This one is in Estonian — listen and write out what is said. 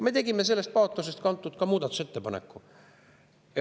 Me tegime sellest paatosest kantuna ka muudatusettepaneku.